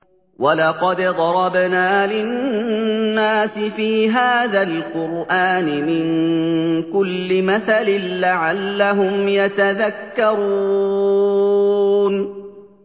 وَلَقَدْ ضَرَبْنَا لِلنَّاسِ فِي هَٰذَا الْقُرْآنِ مِن كُلِّ مَثَلٍ لَّعَلَّهُمْ يَتَذَكَّرُونَ